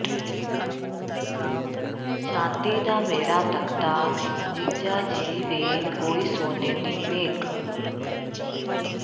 ਚਾਂਦੀ ਦਾ ਮੇਰਾ ਤਖ਼ਤਾ ਜੀਜਾ ਜੀ ਵੇ ਕੋਈ ਸੋਨੇ ਦੀ ਮੇਖ਼